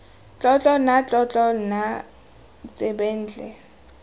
tlotlo nna tlotlo nna tsebentlha